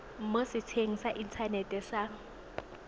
mo setsheng sa inthanete sa